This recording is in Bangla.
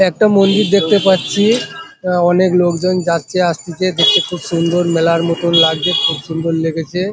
একটা মন্দির দেখতে পারছি । অনকে লোকজন যাচ্ছে অসতিছে দেখতে খুব সুন্দর মেলা মতন লাগছে খুব সুন্দর লেগেছে ।